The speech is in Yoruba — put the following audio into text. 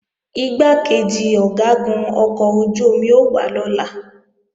Igbákejì Ọ̀gágun ọkọ̀ ojú-omi ó wá lọ́la